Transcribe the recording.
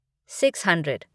six hundred